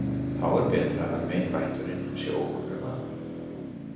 Þá er betra að meinvætturin sé ókunnur maður.